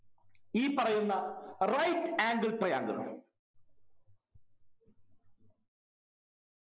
ഈ പറയുന്ന right angle triangle